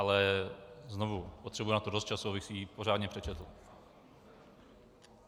Ale znovu - potřebuji na to dost času, abych si ji pořádně přečetl.